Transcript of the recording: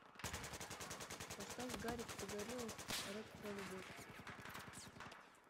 поставь гарик погорелов рэп про любовь